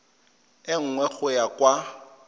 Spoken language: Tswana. e nngwe go ya kwa